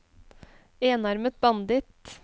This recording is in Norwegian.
enarmet banditt